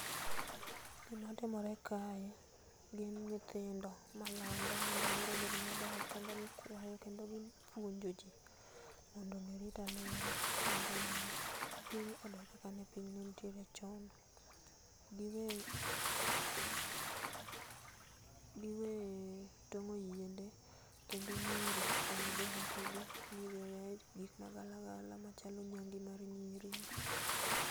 Gima timore kae gin nyithindo malando mondo aluora obed maber kendo puonjo jii mondo gi rit alura mondo piny odog kaka piny nenitie chon giwee tongo yiende kendo nyiri oyudie haki gii modo oyae gik ma galagala machalo nyang'e mar nyiri.